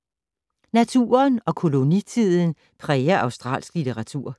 Naturen og kolonitiden præger australsk litteratur